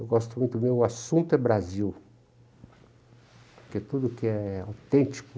Eu gosto muito, meu assunto é Brasil, porque tudo que é autêntico,